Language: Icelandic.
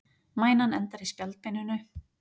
mænan endar í spjaldbeininu